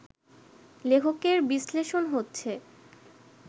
লেখকের বিশ্লেষণ হচ্ছে